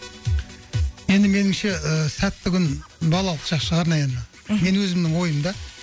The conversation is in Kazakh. енді меніңше ы сәтті күн балалық шақ шығар наверное мхм менің өзімнің ойым да